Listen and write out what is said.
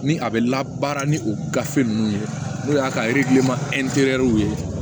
Ni a bɛ labaara ni o gafe ninnu ye n'o y'a ka ye